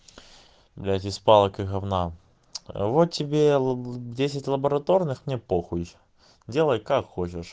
блядь из палок и гавна вот тебе десять лабораторных мне похуй делай как хочешь